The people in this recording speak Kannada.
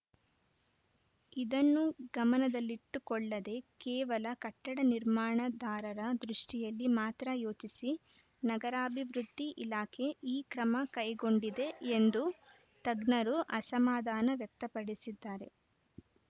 ಇದನ್ನು ಗಮನದಲ್ಲಿಟ್ಟುಕೊಳ್ಳದೆ ಕೇವಲ ಕಟ್ಟಡ ನಿರ್ಮಾಣದಾರರ ದೃಷ್ಟಿಯಲ್ಲಿ ಮಾತ್ರ ಯೋಚಿಸಿ ನಗರಾಭಿವೃದ್ಧಿ ಇಲಾಖೆ ಈ ಕ್ರಮ ಕೈಗೊಂಡಿದೆ ಎಂದು ತಜ್ಞರು ಅಸಮಾಧಾನ ವ್ಯಕ್ತಪಡಿಸಿದ್ದಾರೆ